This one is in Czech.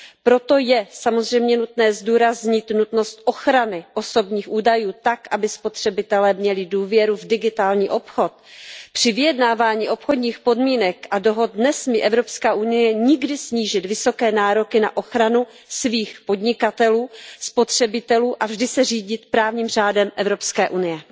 Proto je samozřejmě nutné zdůraznit nutnost ochrany osobních údajů tak, aby spotřebitelé měli důvěru v digitální obchod. Při vyjednávání obchodních podmínek a dohod nesmí Evropská unie nikdy snížit vysoké nároky na ochranu svých podnikatelů, spotřebitelů a vždy se řídit právním řádem Evropské unie.